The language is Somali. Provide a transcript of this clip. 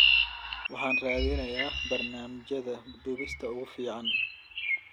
Waxaan raadineynaa barnaamijyada duubista ugu fiican.